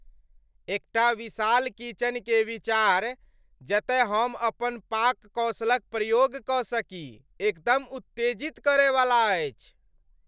एकटा विशाल किचन के विचार, जतय हम अपन पाक कौशलक प्रयोग कऽ सकी, एकदम उत्तेजित करय वाला अछि।